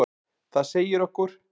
Það segi okkur: